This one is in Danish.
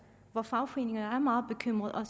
hvor fagforeningerne er meget bekymrede og